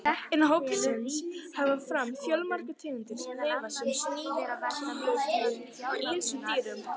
Innan hópsins hafa komið fram fjölmargar tegundir sem lifa sem sníkjudýr á ýmsum dýrum.